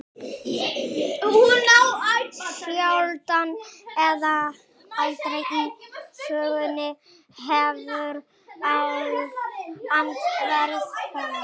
Sjaldan eða aldrei í sögunni hefur land verið hernumið af eins eymdarlegum liðsafnaði.